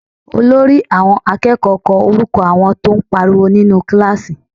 Olórí àwọn akẹ́kọ̀ọ́ kọ orúkọ àwọn tó ń pariwo nínú kíláàsì